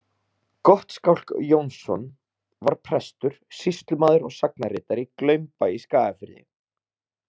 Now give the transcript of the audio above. Gottskálk Jónsson var prestur, sýslumaður og sagnaritari í Glaumbæ í Skagafirði.